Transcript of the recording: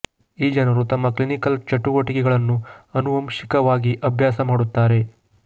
ಈ ಜನರು ತಮ್ಮ ಕ್ಲಿನಿಕಲ್ ಚಟುವಟಿಕೆಗಳನ್ನು ಆನುವಂಶಿಕವಾಗಿ ಅಭ್ಯಾಸ ಮಾಡುತ್ತಾರೆ